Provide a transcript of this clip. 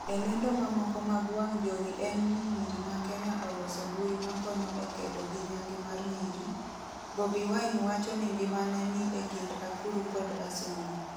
e lendo mamoko mag wang' jowi en ni nyiri ma kenya oloso mbui makonyo e kedo gi nyange mar nyiri, Bobi wine wacho ni ngimane ni e kind akuru kod asumbi